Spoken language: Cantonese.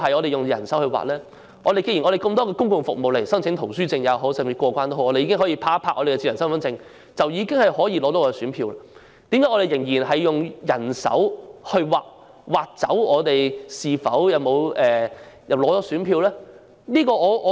既然有很多公共服務，例如申請圖書證或過關已可以用智能身份證，取選票也可以這樣做，為甚麼仍然要用人手刪除姓名以取得選票？